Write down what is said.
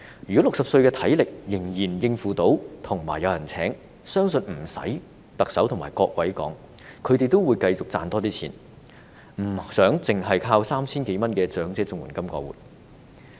如果60歲的長者，體力仍然能夠應付，仍然有人聘用，相信不用特首和各位說，他們也會繼續多賺錢，而不想單靠 3,000 多元的長者綜援金過活。